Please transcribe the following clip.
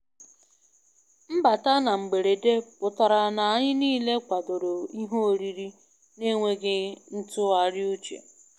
Mbata na mgberede pụtara na anyị niile kwadoro ihe oriri na enweghị ntụgharị uche